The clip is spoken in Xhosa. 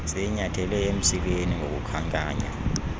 siyinyathele emsileni ngokukhankanya